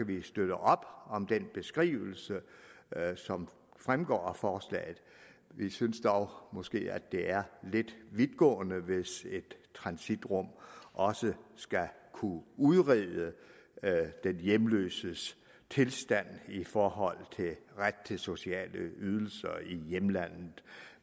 vi støtte op om den beskrivelse som fremgår af forslaget vi synes dog måske at det er lidt vidtgående hvis et transitrum også skal kunne udrede den hjemløses tilstand i forhold til ret til sociale ydelser i hjemlandet